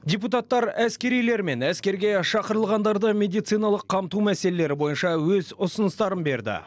депутаттар әскерилер мен әскерге шақырылғандарды медициналық қамту мәселелері бойынша өз ұсыныстарын берді